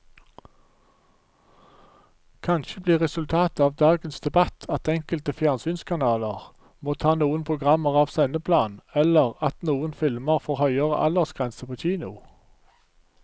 Kanskje blir resultatet av dagens debatt at enkelte fjernsynskanaler må ta noen programmer av sendeplanen eller at noen filmer får høyere aldersgrense på kino.